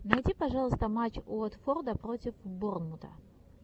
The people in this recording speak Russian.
найди пожалуйста матч уотфорда против борнмута